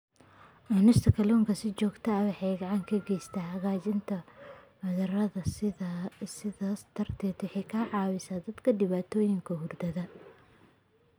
Cunista kalluunka si joogto ah waxay gacan ka geysataa hagaajinta hurdada, sidaas darteed waxay caawisaa dadka dhibaatooyinka hurdada.